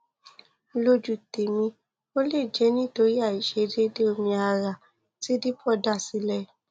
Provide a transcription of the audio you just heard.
lójú tèmi ó lè jẹ nítorí àìṣedéédéé omi ara tí depo dá sílẹ